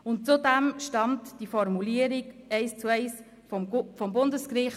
Zudem stammt die Formulierung eins zu eins vom Bundesgericht.